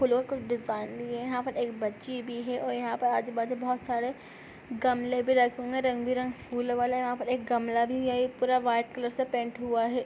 फूलों कि डिजाइन दिए है यह पर एक बच्ची भी है और यंहा पे आजू -बाजू बहुत सारे गमले भी रखे हुए है रंग बिरंगे फूलों वाले यहाँ पर एक गमला भी है एक पूरा व्हाइट कलर से पेंट हुआ है।